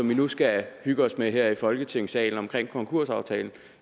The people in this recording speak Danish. vi nu skal hygge os med her i folketingssalen om konkursaftalen